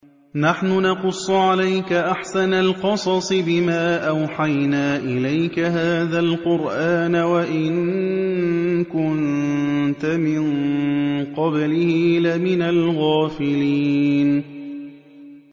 نَحْنُ نَقُصُّ عَلَيْكَ أَحْسَنَ الْقَصَصِ بِمَا أَوْحَيْنَا إِلَيْكَ هَٰذَا الْقُرْآنَ وَإِن كُنتَ مِن قَبْلِهِ لَمِنَ الْغَافِلِينَ